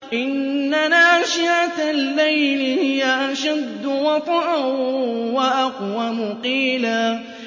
إِنَّ نَاشِئَةَ اللَّيْلِ هِيَ أَشَدُّ وَطْئًا وَأَقْوَمُ قِيلًا